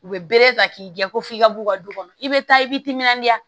U bɛ bere ta k'i jɛ ko f'i ka b'u ka du kɔnɔ i bɛ taa i b'i timinandiya